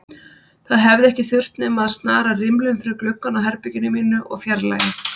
Það hefði ekki þurft nema að snara rimlum fyrir gluggann á herberginu mínu og fjarlægja